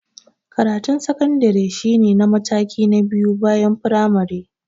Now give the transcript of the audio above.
Karatun sakandare shi ne mataki na biyu bayan firamare.